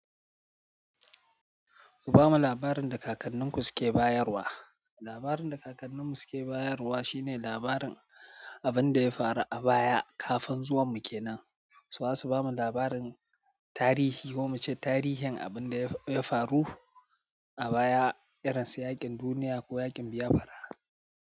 Ku bamu labarin da kakanninku suke bayarwa. Labarin da kakanninmu suke bayarwa shine labarin abin da ya faru a baya kafin zuwanmu kenan. To za su bamu labarin tarihi ko muce tarihin abin da ya faru a baya, irin su yaƙin duniya ko yaƙin Biafra.